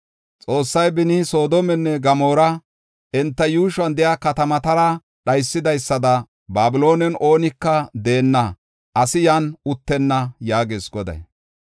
Xoossay beni Soodomenne Gamoora enta yuushuwan de7iya katamatara dhaysidaysada Babiloonen oonika deenna; asi yan uttenna” yaagees Goday.